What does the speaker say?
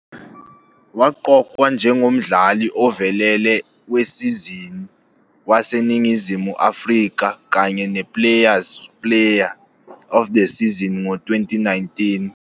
Waqokwa njengoMdlali ovelele weSizini waseNingizimu Afrika kanye ne-Players 'Player of the Season ngo-2019.